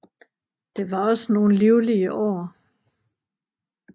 Det var ogsaa nogle livlige Aar